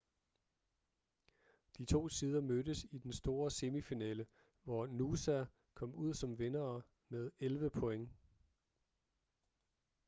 de to sider mødtes i den store semifinale hvor noosa kom ud som vindere med 11 point